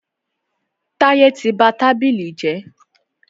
Táyẹ́ tí ba tábìlì jẹ́.